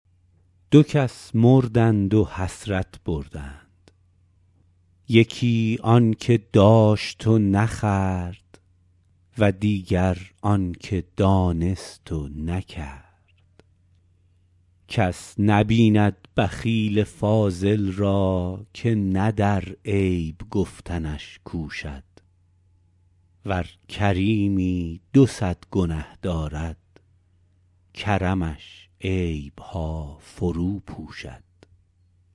دو کس مردند و حسرت بردند یکی آن که داشت و نخورد و دیگر آن که دانست و نکرد کس نبیند بخیل فاضل را که نه در عیب گفتنش کوشد ور کریمی دو صد گنه دارد کرمش عیبها فرو پوشد